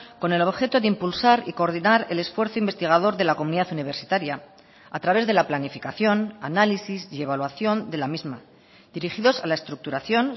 con el objeto de impulsar y coordinar el esfuerzo investigador de la comunidad universitaria a través de la planificación análisis y evaluación de la misma dirigidos a la estructuración